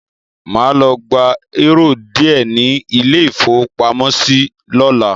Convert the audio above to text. Mà á lọ gba eúrò díẹ̀ ní ilé-ìfowópamọ́sí lọ́la.